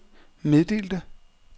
meddelte